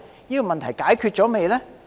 這些問題是否已解決呢？